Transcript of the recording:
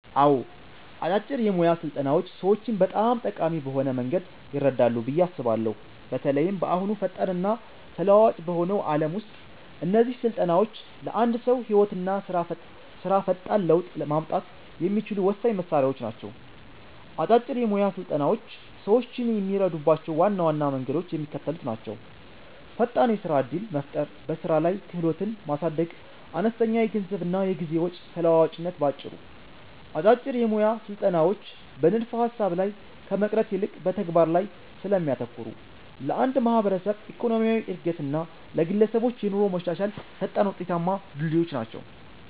አዎ፣ አጫጭር የሞያ ስልጠናዎች ሰዎችን በጣም ጠቃሚ በሆነ መንገድ ይረዳሉ ብዬ አስባለሁ። በተለይም በአሁኑ ፈጣንና ተለዋዋጭ በሆነው ዓለም ውስጥ እነዚህ ስልጠናዎች ለአንድ ሰው ህይወትና ስራ ፈጣን ለውጥ ማምጣት የሚችሉ ወሳኝ መሣሪያዎች ናቸው። አጫጭር የሞያ ስልጠናዎች ሰዎችን የሚረዱባቸው ዋና ዋና መንገዶች የሚከተሉት ናቸው፦ ፈጣን የስራ ዕድል መፍጠር በስራ ላይ ክህሎትን ማሳደግ አነስተኛ የገንዘብና የጊዜ ወጪ ተለዋዋጭነት ባጭሩ፦ አጫጭር የሞያ ስልጠናዎች በንድፈ-ሐሳብ ላይ ከመቅረት ይልቅ በተግባር ላይ ስለሚያተኩሩ፣ ለአንድ ማህበረሰብ ኢኮኖሚያዊ ዕድገት እና ለግለሰቦች የኑሮ መሻሻል ፈጣንና ውጤታማ ድልድዮች ናቸው።